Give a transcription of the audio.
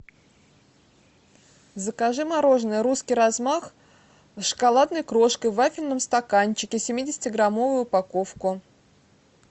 закажи мороженое русский размах с шоколадной крошкой в вафельном стаканчике семидесяти граммовую упаковку